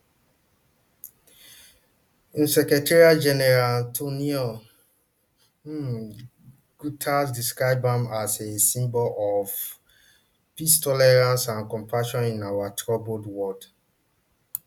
un secretarygeneral antonio um guterres describe am as a symbol of um peace tolerance and compassion in our troubled world